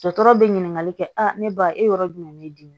Dɔtɔrɔ bɛ ɲininkali kɛ a ne ba e yɔrɔ jumɛn ne dimin